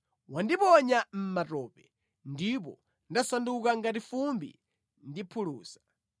Wandiponya mʼmatope, ndipo ndasanduka ngati fumbi ndi phulusa.